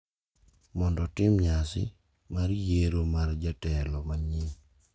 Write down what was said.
Mondo otim nyasi mar yiero mar jatelo manyien.